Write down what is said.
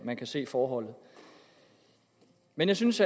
man kan se forholdet men jeg synes